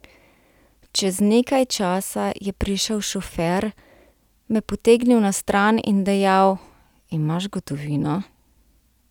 Čez nekaj časa je prišel šofer, me potegnil na stran in dejal: "Imaš gotovino?